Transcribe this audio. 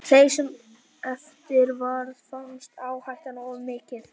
Þeim sem eftir varð fannst áhættan of mikil.